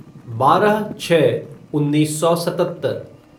बारह छः उन्नीस सौ सतत्तर